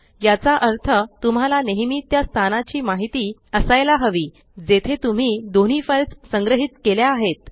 याचा अर्थ तुम्हाला नेहेमी त्या स्थानाची माहीत असायाला हवी जेथे तुम्ही दोन्ही फाइल्स संग्रहीत केल्या आहेत